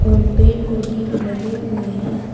और पेड़ पौधे भी लगे हुए हैं।